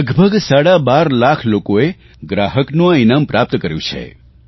લગભગ સાડા બાર લાખ લોકોએ ગ્રાહકનું આ ઇનામ પ્રાપ્ત કર્યું છે